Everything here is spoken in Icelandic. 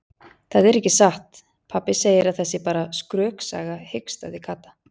Það er ekki satt, pabbi segir að það sé bara skröksaga hikstaði Kata.